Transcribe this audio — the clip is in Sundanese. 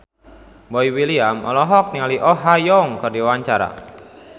Boy William olohok ningali Oh Ha Young keur diwawancara